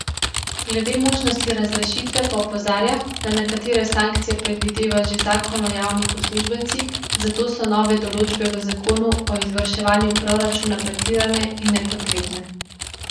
Glede možnosti razrešitve pa opozarja, da nekatere sankcije predvideva že zakon o javnih uslužbencih, zato so nove določbe v zakonu o izvrševanju proračuna pretirane in nepotrebne.